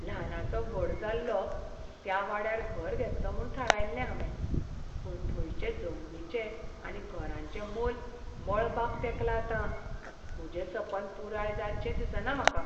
ल्हानाचों व्हड जाल्लों त्या वाड्यार घर घेतलों म्हूण थारायल्लें हावें, पूण थंयचे जमनीचें आनी घरांचें मोल मळबाक तेंकलां आतां. म्हजें सपन पुराय जायतशें दिसना म्हाका.